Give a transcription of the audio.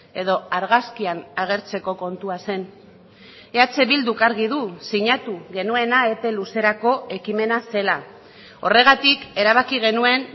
edo argazkian agertzeko kontua zen eh bilduk argi du sinatu genuena epe luzerako ekimena zela horregatik erabaki genuen